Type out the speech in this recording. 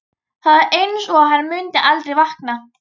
Það er einsog hann muni aldrei vakna.